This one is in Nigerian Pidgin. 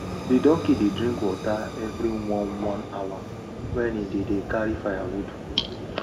di donkey dey drink water evri one one hour wen e dey dey carry firewood